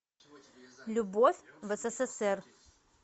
любовь в ссср